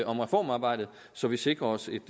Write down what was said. om reformarbejdet så vi sikrer os et